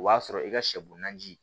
O b'a sɔrɔ i ka sɛ bo naani ji